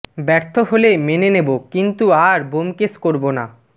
ব্যর্থ হলে মেনে নেব কিন্তু আর ব্যোমকেশ করব না